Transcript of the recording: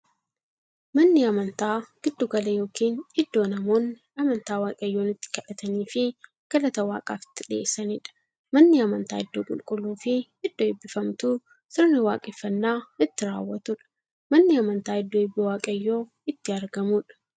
Manni amantaa giddu gala yookiin iddoo namoonni amantaa waaqayyoon itti kadhataniifii galata waaqaaf itti dhiyeessaniidha. Manni amantaa iddoo qulqulluufi iddoo eebbifamtuu, sirna waaqeffannaa itti raawwatuudha. Manni amantaa iddoo eebbi waaqayyoo itti argamuudha.